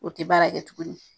O tɛ baara kɛ tuguni.